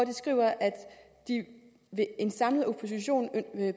de skrev at den samlede opposition